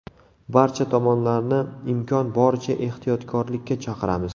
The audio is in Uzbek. Barcha tomonlarni imkon boricha ehtiyotkorlikka chaqiramiz.